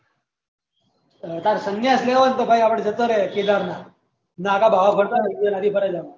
અત્યાર સન્યાસ લેવો હોય તો ભાઈ આપળે જતો રેહ કેદારનાથ નાગા બાબા ફરતા હોય એ નદી પર જવાનું